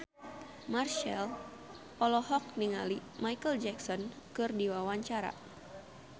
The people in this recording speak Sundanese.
Marchell olohok ningali Micheal Jackson keur diwawancara